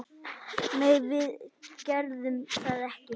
Nei, við gerðum það ekki.